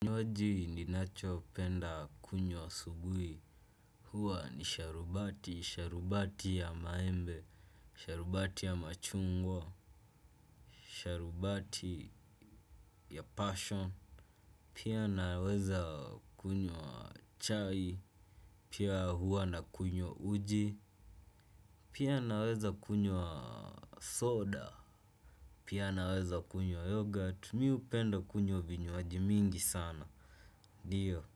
Kinywaji ninacho penda kunywa asubuhi, huwa ni sharubati; sharubati ya maembe, sharubati ya machungwa, sharubati ya passion, pia naweza kunywa chai. Pia huwa na kunywa uji. Pia naweza kunyo wa soda. Pia naweza kunywa yoghurt. Mimi hupenda kunywa vinywaji mingi sana. Ndio.